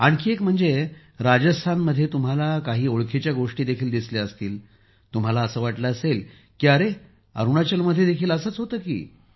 आणखी एक म्हणजे राजस्थानमध्ये तुम्हाला काही ओळखीच्या गोष्टी देखील दिसल्या असतील तुम्हाला असे वाटले असेल की अरे अरुणाचल मध्ये देखील असे होते की